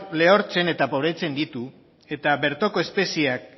lehortzen eta pobretzen ditu eta bertoko espezieak